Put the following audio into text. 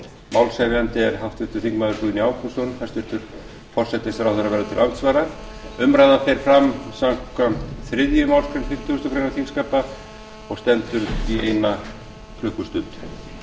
málshefjandi er háttvirtur þingmaður guðni ágústsson verður til andsvara umræðan fer fram samkvæmt þriðju málsgrein fimmtugustu grein þingskapa og stendur í eina klukkustund